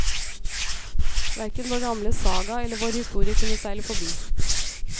Hverken vår gamle saga eller vår historie kunne seile forbi.